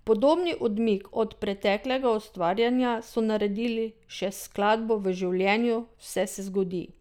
Podobni odmik od preteklega ustvarjanja so naredili še s skladbo V življenju vse se zgodi.